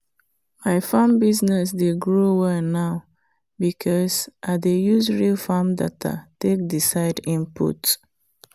my farm business dey grow well now because i dey use real farm data take decide input.